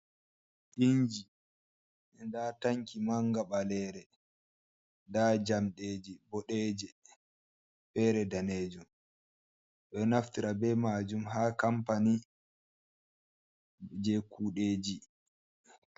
Inji! Nda tanki manga ɓalere. Nda jamɗe ji boɗeeje, feere danejuum. Ɓe ɗo naftira be maajum haa kampani je kuɗeeji.